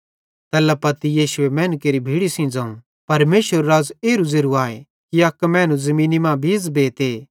तैल्ला पत्ती यीशुए मैनू केरि भीड़ी सेइं ज़ोवं परमेशरेरू राज़ एरू ज़ेरू आए कि अक मैनू ज़मीनी पुड़ बीज़ बेते